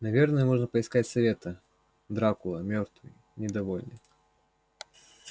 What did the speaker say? наверное можно поискать совета дракула мёртвый недовольный